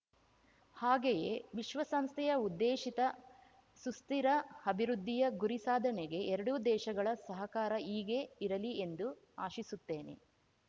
ಹಾಗೆಯೇ ವಿಶ್ವಸಂಸ್ಥೆಯ ಉದ್ದೇಶಿತ ಸುಸ್ಥಿರ ಅಭಿವೃದ್ಧಿಯ ಗುರಿ ಸಾಧನೆಗೆ ಎರಡೂ ದೇಶಗಳ ಸಹಕಾರ ಹೀಗೇ ಇರಲಿ ಎಂದು ಆಶಿಸುತ್ತೇನೆ